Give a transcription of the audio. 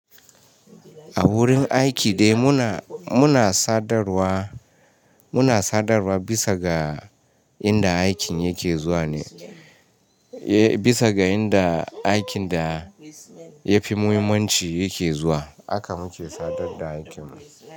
A wurin aiki dai muna, muna sadarwa, muna sadarwa bisa ga inda aikin yake zuwa ne. Eh, bisa ga inda aikin da yafi muhimmanci yake zuwa aka muke sadar da aikin mu.